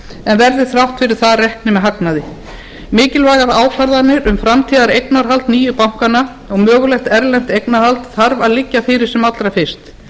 en verði þrátt fyrir það reknir með hagnaði mikilvægar ákvarðanir um framtíðareignarhald nýju bankanna og mögulegt erlend eignarhald þarf að liggja fyrir sem allra fyrst